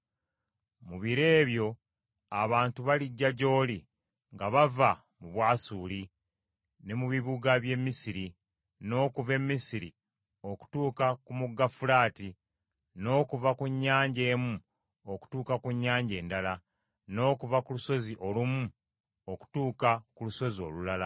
Mu biro ebyo abantu balijja gy’oli nga bava mu Bwasuli ne mu bibuga by’e Misiri, n’okuva e Misiri okutuuka ku mugga Fulaati, n’okuva ku nnyanja emu okutuuka ku nnyanja endala, n’okuva ku lusozi olumu okutuuka ku lusozi olulala.